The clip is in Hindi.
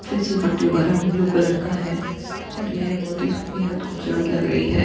फिसल पट्टीयो का रंग ब्लू कलर का है और ये बहोत ही बेहद खूबसूरत लग रही है।